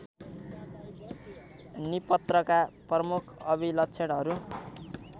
निपत्रका प्रमुख अभिलक्षणहरू